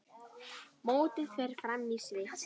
Mótið fer fram í Sviss.